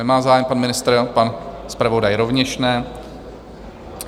Nemá zájem pan ministr, pan zpravodaj rovněž ne.